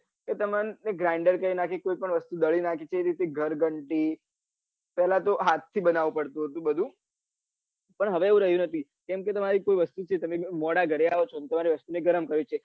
તમને Grinder એનાથી કોઈ પન વસ્તુ દળી નાખે છે તેરીતે ઘરઘંટી પેલા તો હાથ થી બનાવું પડતું હતું બઘુ પન હવે એ રહ્યું નથી કેમકે તમારી કોઈ વસ્તુ મોડા ઘરે તમારી વસ્તુ ગરમ રહે છે